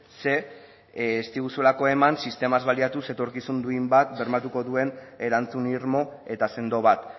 ze ez diguzuelako eman sistemaz baliatuz etorkizun duin bat bermatuko duen erantzun irmo eta sendo bat